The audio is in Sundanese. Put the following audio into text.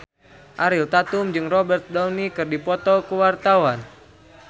Ariel Tatum jeung Robert Downey keur dipoto ku wartawan